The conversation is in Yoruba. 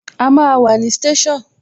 A máa wà ní station